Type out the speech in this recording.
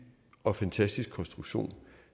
og fantastisk konstruktion